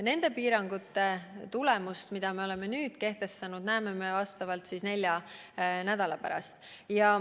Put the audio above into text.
Nende piirangute tulemust, mis me oleme nüüd kehtestanud, näeme vastavalt nelja nädala pärast.